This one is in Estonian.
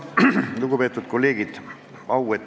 Lugupeetud kolleegid!